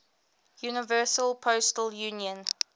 universal postal union